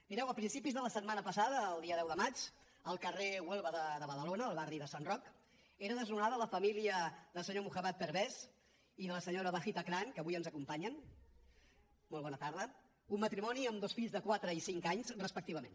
mireu a principis de la setmana passada el dia deu de maig al carrer huelva de badalona al barri de sant roc era desnonada la família del senyor muhammad parvez i de la senyora rida bibi que avui ens acompanyen molt bona tarda un matrimoni amb dos fills de quatre i cinc anys respectivament